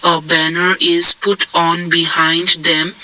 A banner is put on behind them.